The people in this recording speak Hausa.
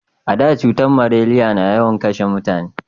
A da cutar maleriya na yawan kashe mutane